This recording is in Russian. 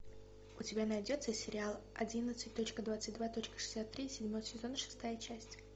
у тебя найдется сериал одиннадцать точка двадцать два точка шестьдесят три седьмой сезон шестая часть